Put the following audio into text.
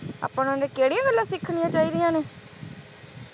ਆਪਾਂ ਨੂੰ ਉਹਨਾਂ ਦੀ ਕਿਹੜੀਆਂ ਗੱਲਾਂ ਸਿੱਖਣੀਆਂ ਚਾਹੀਦੀਆਂ ਨੇ